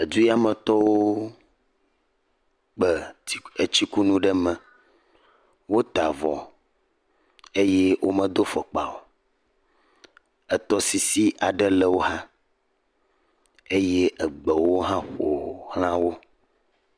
Edu ya metɔwo kpɛ etsikunu ɖe mɛ. Wota avɔ eye womedo fɔkpa o. etɔsisi aɖe le wo xaa. Eye egbewo hã ƒo ʋlã wo.